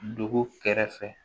Dugu kɛrɛfɛ